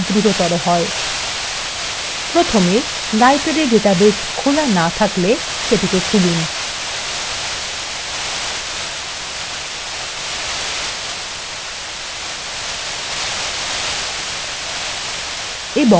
প্রথমে library database খোলা না থাকলে সেটিকে খুলুন